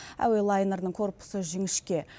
әуе лайнерінің корпусы жіңішке